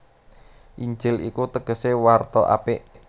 Injil iku tegesé warta apik